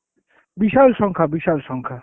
বিশাল সংখ্যা, বিশাল সংখ্যা।